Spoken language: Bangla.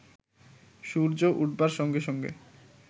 সূর্য উঠবার সঙ্গে সঙ্গে